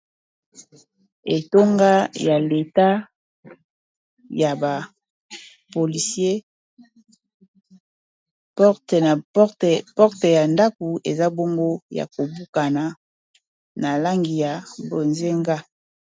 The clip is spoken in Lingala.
Etonga ya leta ya ba polisiers, porte ya ndaku eza bongo ya kobukana na langi ya bozenga.